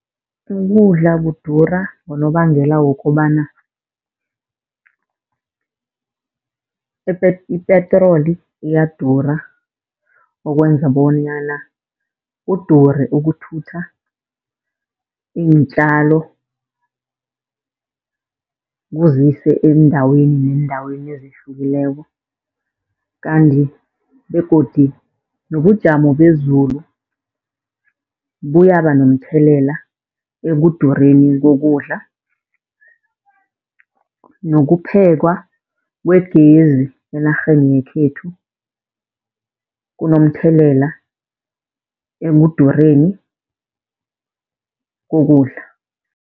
Ukudla kudura ngonobangela wokobana ipetroli iyadura okwenza bonyana kudure ukuthutha iintjalo, kuzise eendaweni neendaweni ezihlukileko. Kanti begodu nobujamo bezulu buyaba nomthelela ekudureni kokudla. Nokuphekwa kwegezi enarheni yekhethu kunomthelela ekudureni kokudla.